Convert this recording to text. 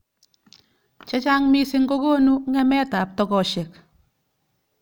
Chechang missing kokonu ng'emet ab tokoshek.